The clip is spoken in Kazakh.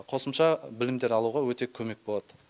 қосымша білімдер алуға өте көмек болады